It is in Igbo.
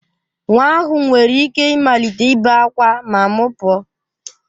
Nwa ahụ nwere ike ịmalite ibe ákwá ma m pụọ